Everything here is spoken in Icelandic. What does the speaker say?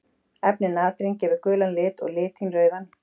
Efnið natrín gefur gulan lit og litín rauðan.